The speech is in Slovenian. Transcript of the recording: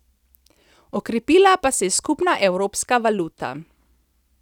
Okrepila pa se je skupna evropska valuta.